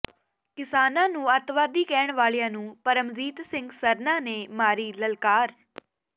ਕਿਸਾਨਾਂ ਨੂੰ ਅੱਤਵਾਦੀ ਕਹਿਣ ਵਾਲਿਆਂ ਨੂੰ ਪਰਮਜੀਤ ਸਿੰਘ ਸਰਨਾ ਨੇ ਮਾਰੀ ਲਲਕਾਰ